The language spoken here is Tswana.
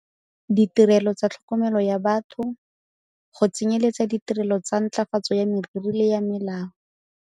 Ditirelo tsa tlhokomelo ya batho, go tsenyeletsa ditirelo tsa ntlafatso ya meriri le ya mmele.